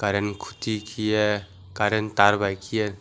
rain kuchi kehe karren tar bai ke.